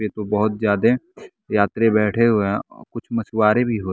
पे तो बहुत ज्यादा यात्री बैठे हुए हैं मछवारे।